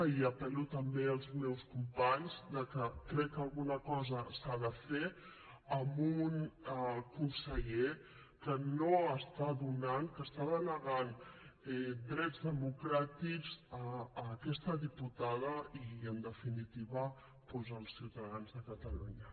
i apel·lo també als meus companys que crec que alguna cosa s’ha de fer amb un conseller que no està donant que està denegant drets democràtics a aquesta diputada i en definitiva doncs als ciutadans de catalunya